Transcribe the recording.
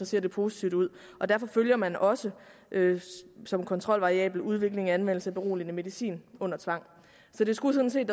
ser positivt ud derfor følger man også som kontrolvariabel udviklingen af anvendelsen af beroligende medicin under tvang så der skulle sådan set